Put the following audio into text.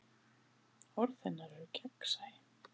Orð hennar eru gegnsæ.